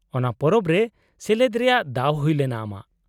-ᱚᱱᱟ ᱯᱚᱨᱚᱵᱽ ᱨᱮ ᱥᱮᱞᱮᱫ ᱨᱮᱭᱟᱜ ᱫᱟᱣ ᱦᱩᱭᱞᱮᱱᱟ ᱟᱢᱟᱜ ?